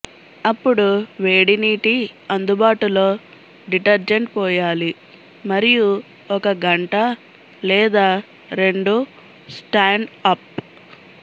అప్పుడు వేడి నీటి అందుబాటులో డిటర్జెంట్ పోయాలి మరియు ఒక గంట లేదా రెండు స్టాండ్ అప్